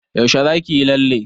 Yaushe za ki yi lalle?